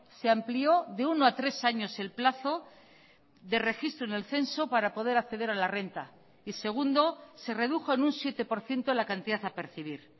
se amplió de uno a tres años el plazo de registro en el censo para poder acceder a la renta y segundo se redujo en un siete por ciento la cantidad a percibir